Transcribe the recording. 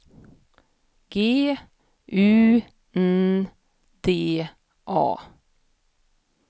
G U N D A